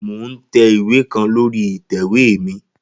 Mo n tẹ iwe kan lori itẹ̀wé mi.